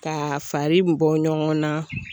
Ka fari bɔ ɲɔgɔnna